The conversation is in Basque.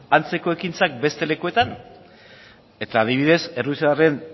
antzeko ekintzak beste lekuetan eta adibidez errusiarren